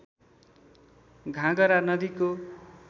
घागरा नदीको